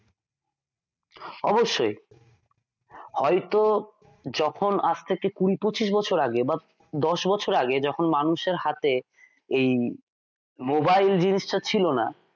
অবশ্যই হয়তো যখন আজ থেকে কুড়ি পঁচিশ বছর আগে বা দশ বছর আগে যখন মানুষের হাতে এই mobile জিনিসটা ছিল না